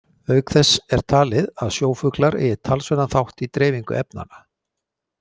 Auk þess er talið að sjófuglar eigi talsverðan þátt í dreifingu efnanna.